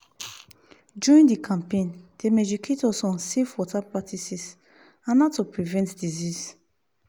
during the campaign dem educate us on safe water practices and how to prevent disease.